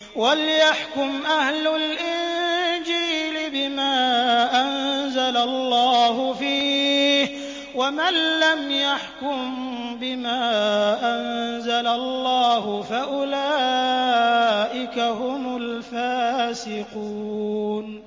وَلْيَحْكُمْ أَهْلُ الْإِنجِيلِ بِمَا أَنزَلَ اللَّهُ فِيهِ ۚ وَمَن لَّمْ يَحْكُم بِمَا أَنزَلَ اللَّهُ فَأُولَٰئِكَ هُمُ الْفَاسِقُونَ